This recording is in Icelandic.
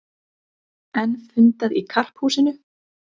Enn fundað í Karphúsinu